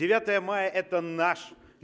девятое мая это наш